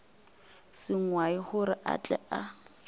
sengwai gore a tle a